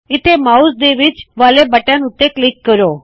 ਇੱਥੇ ਮਾਉਸ ਦੇ ਵਿਚ ਵਾਲੇ ਬਟਨ ਉੱਤੇ ਕਲਿੱਕ ਕਰੋ